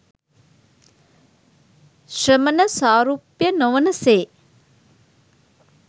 ශ්‍රමණ සාරුප්‍ය නොවන සේ